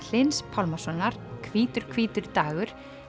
Hlyns Pálmasonar hvítur hvítur dagur